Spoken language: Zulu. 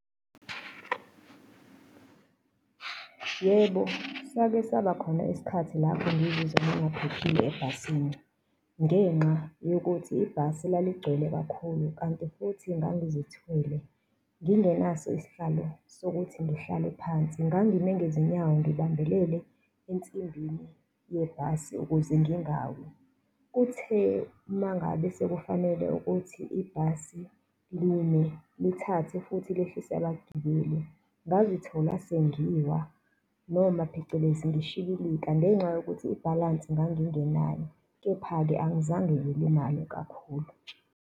Yebo, sake saba khona isikhathi lapho ngizizwa ngingaphephile ebhasini ngenxa yokuthi ibhasi laligcwele kakhulu, kanti futhi ngangizithwele ngingenaso isihlalo sokuthi ngihlale phansi, ngangime ngezinyawo, ngibambelele ensimbini yebhasi ukuze ngingawi. Kuthe uma ngabe sekufanele ukuthi ibhasi lime, lithathe futhi lihlise abagibeli, ngazithola sengiwa noma phecelezi ngishibilika ngenxa yokuthi ibhalansi ngangingenayo, kepha-ke angizange ngilimale kakhulu.